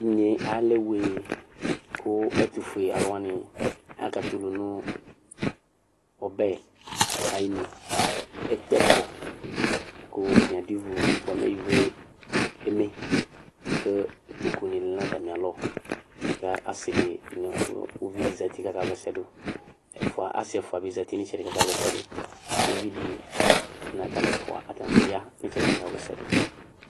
Inye alɛ wee kʋ ɛtʋfue alʋ wani aka tɛ ʋlʋnʋ ɔbɛ ayʋ inʋ ekpe ɛkɔ kʋ atani adʋ ivu bʋa mɛ ivue eme kʋ ikpokʋ ni lɛnʋ atami alɔ kʋ asi nʋ ʋlʋvi di zati kʋ aka wlɛsɛ dʋ asi ɛfua bi zati nʋ itsɛdi kʋ aka wlɛsɛ dʋ ʋvidi atalʋ ɛfua bi ya kʋ aka wla ɛsɛdʋ